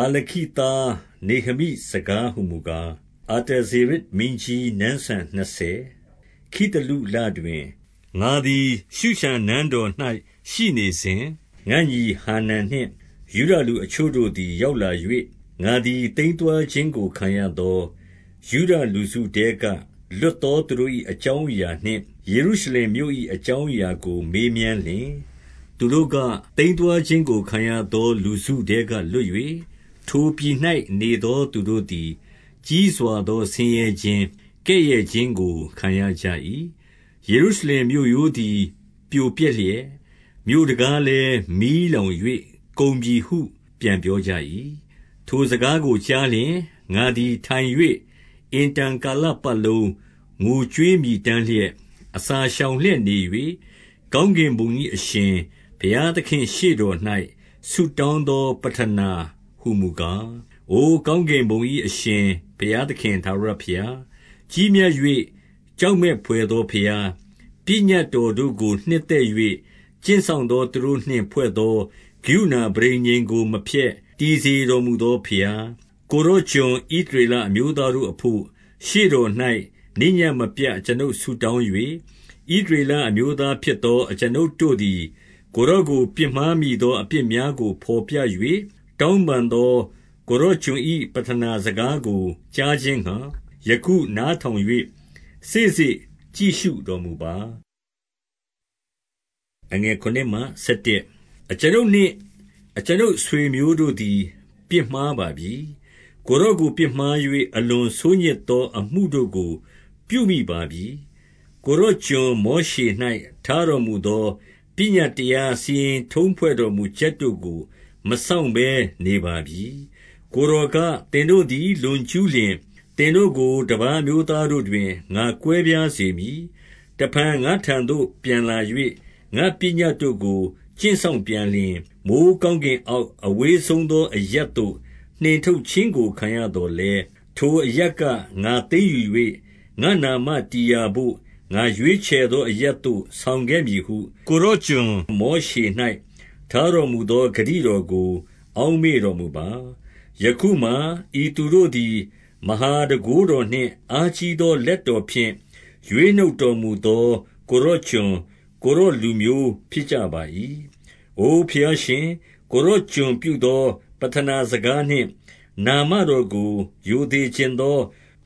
ဟာခလိသား နေဟမိစကားဟူမူကား၊ အာတ ဇေရဇ်မင်းကြီး နန်းစံနှစ်ဆယ်၊ ခိသလုလတွင်၊ ငါသည် ရှုရှန်နန်းတော်၌ ရှိနေစဉ်၊ 2 ငါ့ညီ ဟာနန်နှင့် ယုဒလူအချို့တို့သည် ရောက်လာ၍၊ ငါသည် သိမ်းသွားခြင်းကို ခံရသောယုဒလူစုထဲ က လွတ်သော သူတို့၏ အကြောင်းအရာနှင့်၊ ယေရုရှလင်မြို့၏ အကြောင်းအရာကို မေးမြန်းလျှင်၊ 3 သူတို့က၊ သိမ်းသွားခြင်းကို ခံရသော လူစုထဲက လွတ်၍၊ ထိုပြည်၌ နေသောသူတို့သည် ကြီးစွာသော ဆင်းရဲခြင်း၊ ကဲ့ရဲ့ခြင်းကို ခံရကြ၏။ ယေရုရှလင်မြို့ရိုးသည် ပြိုပျက်လျက်၊ မြို့တံခါးလည်း မီးလောင်၍ ကုန်ပြီဟု ပြန်ပြောကြ၏။ 4 ထိုစကားကိုကြားလျှင်၊ ငါသည် ထိုင်၍ အင်တန် ကာလပတ်လုံး ငိုကြွေးမြည်တမ်းလျက်၊ အစာရှောင်လျက် နေ၍၊ ကောင်းကင်ဘုံ၏အရှင် ဘုရားသခင့်ရှေ့တော်၌ ဆုတောင်းသော ပဌာနာဟူမူကား၊ 5 အိုကောင်းကင်ဘုံ၏အရှင် ဘုရားသခင် ထာဝရဘုရား၊ ကြီးမြတ်၍ ကြောက်မက်ဘွယ်သော ဘုရား၊ ပညတ်တော်တို့ကို နှစ်သက်၍ ကျင့်စောင့်သော သူတို့နှင့်ဖွဲ့သော ကရုဏာပဋိညာဉ်ကို မဖျက်၊ တည်စေ တော်မူသောဘုရား၊ 6 ကိုယ်တော် ကျွန်ဣသရေလအမျိုးသားတို့အဘို့၊ ရှေ့တော်၌ နေ့ညဉ့်မပြတ် အကျွန်ုပ်ဆုတောင်း၍၊ ဣသရေလအမျိုးသားဖြစ်သော အကျွန်ုပ်တို့သည် ကိုယ်တော်ကို ပြစ်မှားမိသော အပြစ်များကို ဘော်ပြ၍ တောင်းပန် သော ကိုယ်တော်ကျွန်၏ ပဌနာစကားကို ကြားခြင်းငှါ၊ ယခု နားထောင်၍ စေ့စေ့ကြည့်ရှုတော်မူပါ။ 7 အကျွန်ုပ်နှင့် အကျွန်ုပ်အဆွေအမျိုးတို့သည် ပြစ်မှားပါပြီ။ ကိုယ်တော်ကို ပြစ်မှား၍၊ အလွန်ဆိုးညစ် သော အမှုတို့ကို ပြုမိပါပြီ။ ကိုယ်တော် ကျွန်မော်ရှေ၌ ထားတော်မူသော ပညတ်တရား၊ စီရင်ထုံးဖွဲ့တော်မူချက် တို့ကို မစောင့်ဘဲနေပါပြီ။ 8 ကိုယ်တော်က၊ သင်တို့သည် လွန်ကျူးလျှင်၊ သင်တို့ကို တပါးအမျိုးသားတို့တွင် ငါကွဲပြားစေမည်။ 9 တဖန် ငါ့ထံသို့ ပြန်လာ၍၊ ငါ့ပညတ်တို့ကို ကျင့် စောင်ပြန်လျှင်၊ မိုဃ်းကောင်းကင်အောက် အဝေးဆုံး သော အရပ်သို့ နှင့်ထုတ်ခြင်းကို ခံရသော်လည်း၊ ထိုအရပ် က ငါသိမ်းယူ၍၊ ငါ့နာမတည်ရာဘို့ ငါရွေးချယ်သော အရပ်သို့ ဆောင်ခဲ့မည်ဟု ကိုယ်တော်ကျွန်မောရှ၌ ထားတော်မူသော ဂတိတော်ကို အောက်မေ့တော်မူပါ။ 10 ယခုမှာ၊ ဤသူတို့သည် မဟာတန်ခိုးတော်နှင့် အားကြီးသော လက်တော်ဖြင့် ရွေးနှုတ်တော်မူသော ကိုယ်တော်ကျွန်၊ ကိုယ်တော်လူမျိုး ဖြစ်ကြပါ၏။ 11 အို ဘုရားရှင်၊ ကိုယ်တော် ကျွန်ပြုသော ပဌနာ စကားနှင့် နာမတော်ကို ရိုသေချင်သော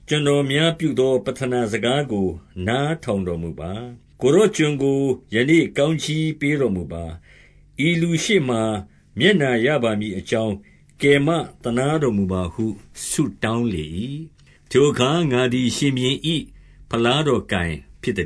ကျွန်တော်များ ပြုသော ပဌနာစကားကို နားထောင်တော်မူပါ။ ကိုယ်တော်ကျွန်ကို ယနေ့ကောင်းကြီးပေးတော်မူပါ။ ဤလူရှေ့မှာ မျက်နှာရပါမည်အကြောင်း ကယ်မသနား တော်မူပါဟု ဆုတောင်းလေ၏။ ထိုအခါ ငါသည် ရှင် ဘုရင်၏ ဖလားတော်ကို ဖြစ်သ